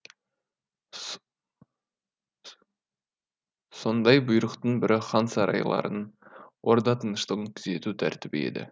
сондай бұйрықтың бірі хан сарайларын орда тыныштығын күзету тәртібі еді